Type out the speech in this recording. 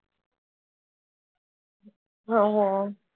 হম হম